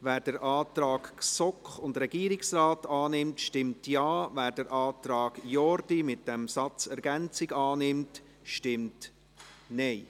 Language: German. Wer den Antrag GSoK und Regierungsrat annimmt, stimmt Ja, wer den Antrag Jordi mit dem Ergänzungssatz annimmt, stimmt Nein.